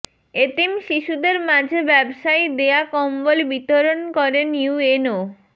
এতিম শিশুদের মাঝে ব্যবসায়ী দেয়া কম্বল বিতরণ করেন ইউএনও